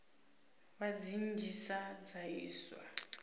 vha dzi nnzhisa dza iswa